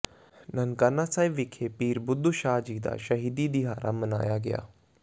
ਨਨਕਾਣਾ ਸਾਹਿਬ ਵਿਖੇ ਪੀਰ ਬੁੱਧੂ ਸ਼ਾਹ ਜੀ ਦਾ ਸ਼ਹੀਦੀ ਦਿਹਾੜਾ ਮਨਾਇਆ ਗਿਆ